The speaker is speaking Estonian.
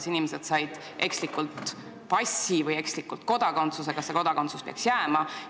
Kui inimesed said ekslikult passi ja kodakondsuse, siis kas see kodakondsus peaks neile jääma?